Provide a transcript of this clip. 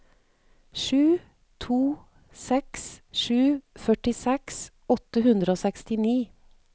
sju to seks sju førtiseks åtte hundre og sekstini